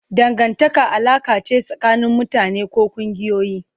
Dangantaka alaƙa ce tsakanin mutane ko ƙungiyoyi.